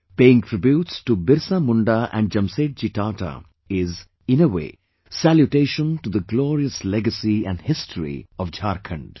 Paying tributes to BirsaMunda and Jamsetji Tata is, in a way, salutation to the glorious legacy and history of Jharkhand